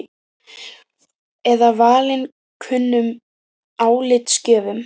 Eða valinkunnum álitsgjöfum?